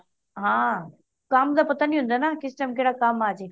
ਹਾਂ ਕਾਮ ਦਾ ਪਤਾ ਨਹੀਂ ਹੁੰਦਾ ਨਾ ਕਿਸ ਟੀਮ ਕੇਹੜਾ ਕੰਮ ਅਜੇ